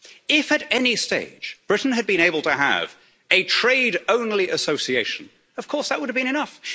If, at any stage, Britain had been able to have a trade-only association, of course that would have been